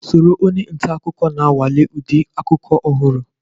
Soro onye nta akụkọ na-anwale ụdị akụkọ ọhụrụ.